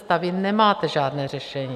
Vy nemáte žádné řešení.